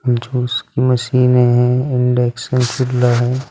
Juice मशीने है induction चूल्हा है।